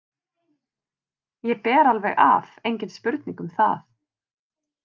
Ég ber alveg af, engin spurning um það.